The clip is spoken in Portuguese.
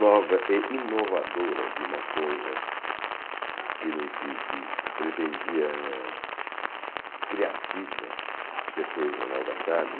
nova e inovadora de uma coisa que que que se pretendia criativa, que foi o Jornal da Tarde.